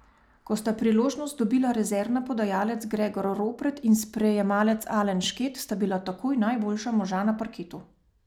Ko sta priložnost dobila rezervna podajalec Gregor Ropret in sprejemalec Alen Šket, sta bila takoj najboljša moža na parketu.